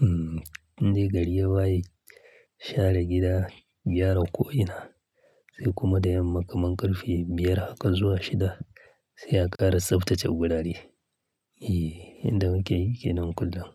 Hmm, indai gari ya waye, share gida, gyara ko ina, sai kuma da yamma kaman ƙarfe biyar haka zuwa shida sai a ƙara tsaftace wurare. Eh, yanda ake yi ke nan kullum.